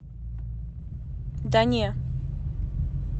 да не